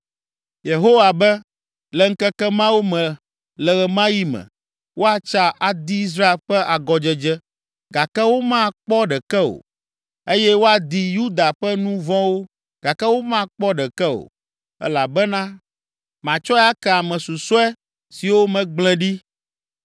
Yehowa be, “Le ŋkeke mawo me, le ɣe ma ɣi me, woatsa, adi Israel ƒe agɔdzedze gake womakpɔ ɖeke o eye woadi Yuda ƒe nu vɔ̃wo gake womakpɔ ɖeke o, elabena matsɔe ake ame susɔe siwo megblẽ ɖi.”